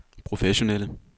professionelle